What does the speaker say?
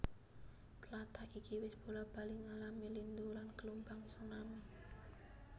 Tlatah iki wis bola bali ngalami lindhu lan gelombang tsunami